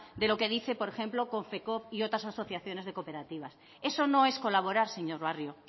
de lo que dice por ejemplo konfecoop y otras asociaciones de cooperativas eso no es colaborar señor barrio